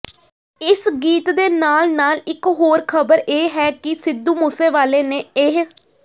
ਇਸ ਗੀਤ ਦੇ ਨਾਲ ਨਾਲ ਇਕ ਹੋਰ ਖ਼ਬਰ ਇਹ ਹੈ ਕਿ ਸਿੱਧੂ ਮੂਸੇਵਾਲੇ ਨੇ ਇਹ